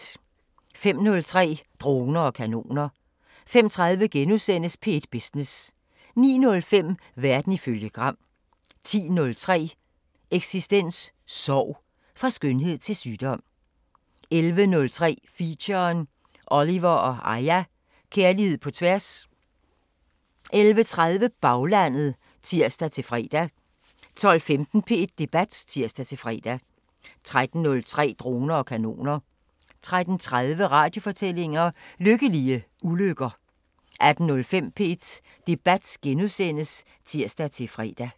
05:03: Droner og kanoner 05:30: P1 Business * 09:05: Verden ifølge Gram 10:03: Eksistens: Sorg – fra skønhed til sygdom 11:03: Feature: Oliver & Aya – Kærlighed på tværs 11:30: Baglandet (tir-fre) 12:15: P1 Debat (tir-fre) 13:03: Droner og kanoner 13:30: Radiofortællinger: Lykkelige ulykker 18:05: P1 Debat *(tir-fre)